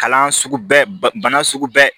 Kalan sugu bɛɛ ba bana sugu bɛ